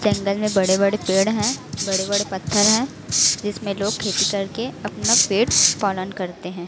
जंगल में बड़े बड़े पेड़ है बड़े बड़े पत्थर है जिसमें लोग खेती करके अपना पेट पालन करते हैं।